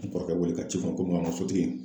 N kɔrɔkɛ wele ka ci fɔ komi a ka sotigi